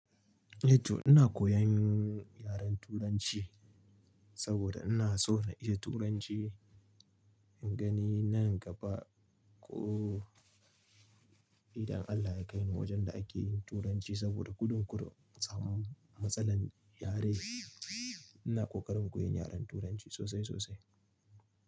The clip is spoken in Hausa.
E to ina koyan yaren turanci saboda ina so na iya turanci, in gani nan gaba ko idan Allah ya kai ni wajen da ake yin turanci saboda gudun kurum in samu matsalar yare. Ina kokarin koyan yaren turanci sosai sosai.